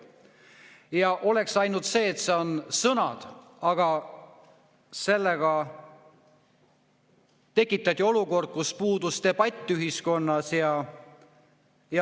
Ja oleks vaid sedasi, et ainult sõnadega, aga tekitati olukord, kus ühiskonnas puudus debatt.